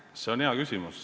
See on hea küsimus.